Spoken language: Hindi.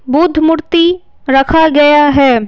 बुद्ध मूर्ति रखा गया है।